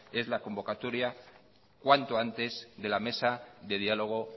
es la convocatoria cuanto antes de la mesa de diálogo